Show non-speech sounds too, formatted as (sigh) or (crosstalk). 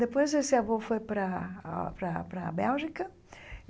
Depois, esse avô foi para a (unintelligible) para a para a Bélgica.